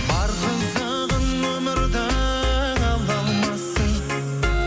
бар қызығын өмірдің ала алмассың